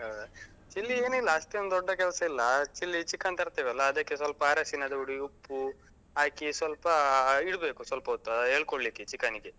ಹಾ. chilli ಏನಿಲ್ಲ ಅಷ್ಟೆನ್ ದೊಡ್ಡ ಕೆಲಸ ಇಲ್ಲ. chilli ಗೆ chicken ತರ್ತೇವಲ್ಲಾ, ಅದಕ್ಕೆ ಸ್ವಲ್ಪ ಅರಶಿಣದ ಹುಡಿ, ಉಪ್ಪು ಹಾಕಿ ಸ್ವಲ್ಪ ಅಹ್ ಇಡ್ಬೇಕು ಸ್ವಲ್ಪ ಹೊತ್ತು ಎಳ್ಕೊಳ್ಳಿಕ್ಕೆ chicken ಗೆ.